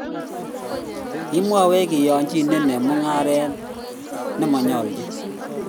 kimakwech keyanchine eng mungaret nemo nyaljin